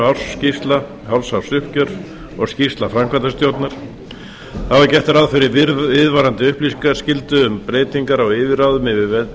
ársskýrsla hálfsársuppgjör og skýrsla framkvæmdastjórnar þá er gert ráð fyrir viðvarandi upplýsingaskyldu um breytingar á yfirráðum yfir